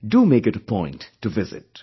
Do make it a point to visit